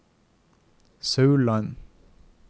Sauland